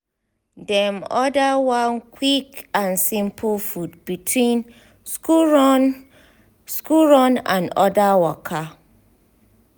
dem order one quick and simple food between school run school run and other waka.